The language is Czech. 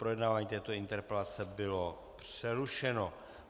Projednávání této interpelace bylo přerušeno.